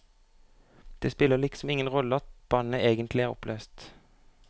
Det spiller liksom ingen rolle at bandet egentlig er oppløst.